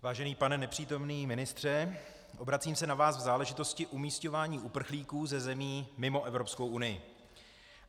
Vážený pane nepřítomný ministře, obracím se na vás v záležitosti umísťování uprchlíků ze zemí mimo Evropskou unii.